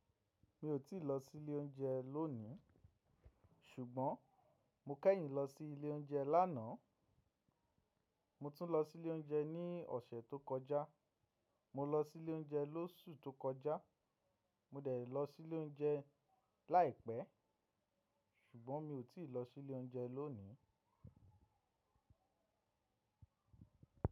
Mi ò tíì lọ sí ilé oúnjẹ lónìí ṣùgbọ́n mo kẹ́yìn lọ sí ilé oúnjẹ lánàá. Mo tún lọ sí ilé oúnjẹ ní ọ̀sẹ̀ tó kọjá. Mo lọ sí ilé oúnjẹ lóṣù tó kọjá. Mo dẹ̀ lọ sí ilé oúnjẹ láìpẹ́ ṣùgbọ́n mi ò tíì lọ sí ilé oúnjẹ lónìí.